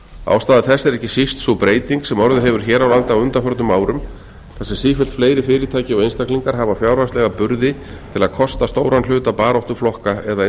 ástæða þess er ekki síst sú breyting sem orðið hefur hér á landi á undanförnum árum þar sem sífellt fleiri fyrirtæki og einstaklingar hafa fjárhagslega burði til að kosta stóran hluta baráttu flokka eða